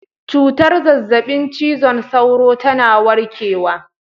Cutar zazzabin cizon sauro tana warkewa